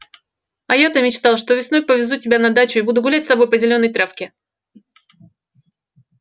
а я-то мечтал что весной повезу тебя на дачу и буду гулять с тобой по зелёной травке